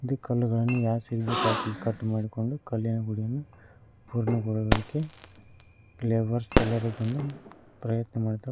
ಇಲ್ಲಿ ಕಲ್ಲುಗಳನ್ನು ಯಾವ ಸೈಜ್ ಬೇಕು ಆ ಸೈಜಿ ಗೆ ಕಟ್ ಮಾಡ್ಕೊಂಡು ಗುಡಿಯನ್ನು ಪೂರ್ಣಗೊಳ್ಳುವುದಕ್ಕೆ ಲೇಬರ್ಸ್ ಎಲ್ಲರೂ ಬಂದು ಪ್ರಯತ್ನ ಮಾಡುತ್ತ--